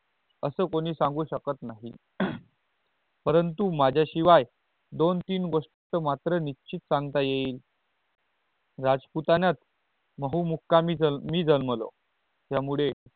अस कोणी सांगू शकत नहीं परंतु माझ्या शिवाय दो तीन गोस्ट मात्र निश्चित संगता याइल राजुपटण्यात बहु मुकामी मी जन्मलो त्या मुले अस सांगू शकत नहीं